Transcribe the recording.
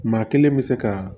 Maa kelen bɛ se ka